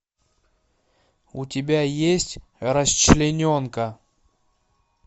у тебя есть расчлененка